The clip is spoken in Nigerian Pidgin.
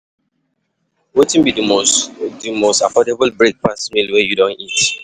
Wetin be di most affordable breakfast meal wey you don eat?